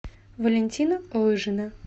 валентина лыжина